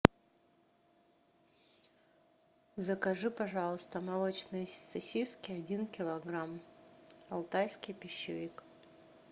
закажи пожалуйста молочные сосиски один килограмм алтайский пищевик